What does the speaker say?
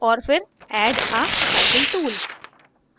और फिर * add a cycle tool